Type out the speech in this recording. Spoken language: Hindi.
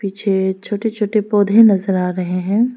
पीछे छोटे छोटे पौधे नजर आ रहे हैं।